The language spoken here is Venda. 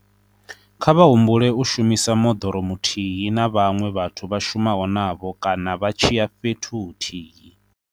Kha vha humbule u shumisa moḓoro muthihi na vhaṅwe vhathu vha shumaho navho kana vha tshi ya fhethu huthihi.